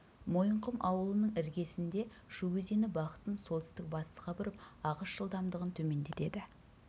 мойынқұм ауылының іргесінде шу өзені бағытын солтүстік батысқа бұрып ағыс жылдамдығын төмендетеді